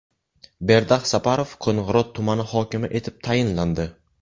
Berdax Saparov Qo‘ng‘irot tumani hokimi etib tayinlandi.